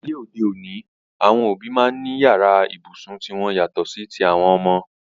Ní ayé òde òní, àwọn òbí máa ń ní yàrá ibùsùn ti wọn yàtọ̀ sí ti àwọn ọmọ.